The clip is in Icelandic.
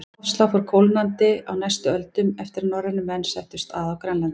Loftslag fór kólnandi á næstu öldum eftir að norrænir menn settust að á Grænlandi.